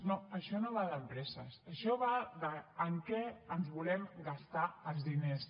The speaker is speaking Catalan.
no això no va d’empreses això va de amb què ens volem gastar els diners